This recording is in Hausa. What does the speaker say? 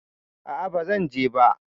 A'a, ba zan je ba.